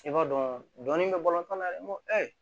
I b'a dɔn dɔni bɛ bɔ tɔn kɔnɔna na ne ko ɛ